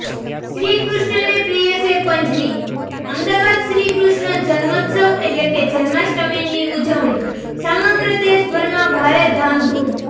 શ્રીકૃષ્ણને પ્રિય છે પંજરી અમદાવાદઃ શ્રીકૃષ્ણ જન્મોત્સવ એટલે કે જન્માષ્ટમીની ઉજવણી સમગ્ર દેશભરમાં ભારે ધામધૂમ